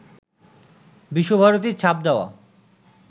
বিশ্বভারতীর ছাপ দেওয়া